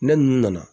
Ne ninnu nana